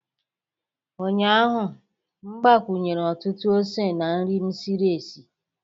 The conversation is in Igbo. Ụnyahụ m gbakwunyere ọtụtụ ose na nri m siri sie